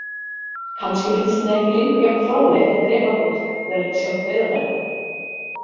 Kannski finnst henni ekki lengur jafn fráleitt að drepa fólk verandi sjálf dauðadæmd.